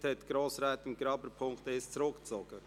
Somit hat Grossrätin Graber den Punkt 1 zurückgezogen.